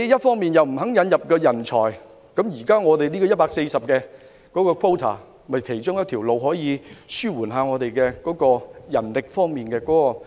他們不肯引入人才，而現時150個配額正是其中一個方法，可紓緩本港的人力供求問題。